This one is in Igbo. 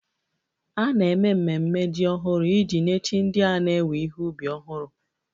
A na-eme ememe jim ọhụrụ iji nye chi ndị a na-ewe ihe ubi ọhụrụ